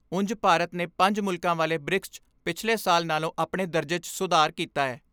ਉਂਜ ਭਾਰਤ ਨੇ ਪੰਜ ਮੁਲਕਾਂ ਵਾਲੇ ਬ੍ਰਿਕਸ 'ਚ ਪਿਛਲੇ ਸਾਲ ਨਾਲੋਂ ਆਪਣੇ ਦਰਜੇ 'ਚ ਸੁਧਾਰ ਕੀਤੈ।